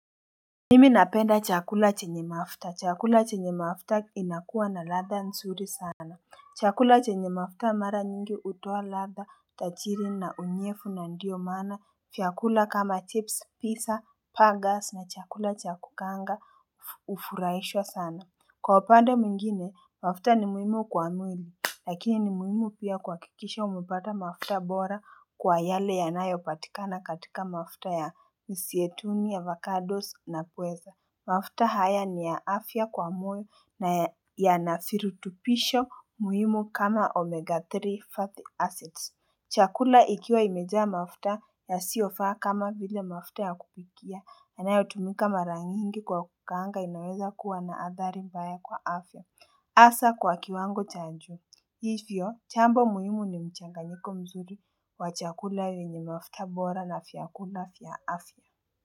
Nimi napenda chakula chenye mafuta. Chakula chenye mafuta inakuwa na ladha nzuri sana. Chakula chenye mafuta mara nyingi utoa ladha tajiri na unyefu na ndiyo mana fyakula kama chips pizza pagas na chakula cha kukaanga ufuraishwa sana. Kwa upande mwingine, mafuta ni muhimu kwa mwili. Lakini ni muhimu pia kuhakikisha umepata mafuta bora kwa yale yanayopatikana katika mafuta ya misietuni, avocados na pweza. Mafuta haya ni ya afya kwa mwili na yanafirutupisho muhimu kama omega 3 fatty acids. Chakula ikiwa imejaa mafuta yasiyofaa kama vile mafuta ya kupikia. Yanayotumika mara nyingi kwa kukaanga inaweza kuwa na athari mbaya kwa afya hasa kwa kiwango cha nju Hivyo, chambo muhimu ni mchanganyiko mzuri wa chakula yenye mafuta bora na vyakula vya afya.